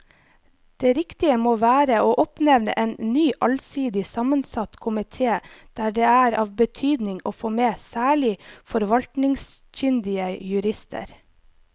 Det riktige må være å oppnevne en ny allsidig sammensatt komite der det er av betydning å få med særlig forvaltningskyndige jurister.